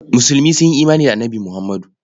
Musulmi sun yi imani da Annabi Muhammadu.